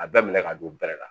A bɛɛ minɛ ka don bɛɛlɛ la